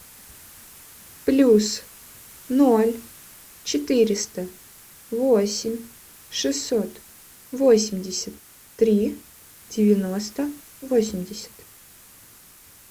плюс ноль четыреста восемь шестьсот восемьдесят три девяносто восемьдесят